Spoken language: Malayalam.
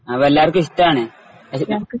അപ്പോൾ എല്ലാർക്കും ഇഷ്ടാണ്.